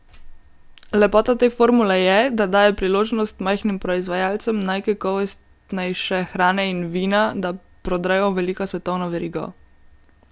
Lepota te formule je, da daje priložnost majhnim proizvajalcem najkakovostnejše hrane in vina, da prodrejo v veliko svetovno verigo.